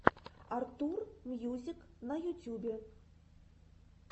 артур мьюзик на ютюбе